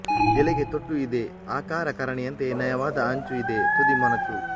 ಎಲೆಗೆ ತೊಟ್ಟು ಇದೆ ಆಕಾರ ಕರನೆಯಂತೆ ನಯವಾದ ಅಂಚು ಇದೆ ತುದಿ ಮೊನಚು